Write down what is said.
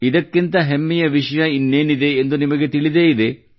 ಇದಕ್ಕಿಂತ ಹೆಮ್ಮೆಯ ವಿಷಯ ಇನ್ನೇನಿದೆ ಎಂದು ನಿಮಗೆ ತಿಳಿದೇ ಇದೆ